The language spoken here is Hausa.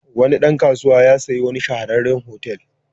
Wani dan kasuwa ya sayi wani shahararren otal.